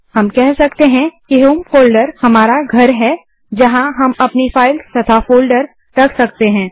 हम कह सकते हैं कि होम फोल्डर हमारा घर है जहाँ हम अपनी फाइल्स तथा फोल्डर्स रख सकते हैं